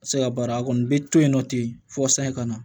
Se ka baara a kɔni bɛ to yen nɔ ten fɔ sani ka na